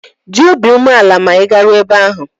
Dị obi umeala ma ị garuo ebe ahụ!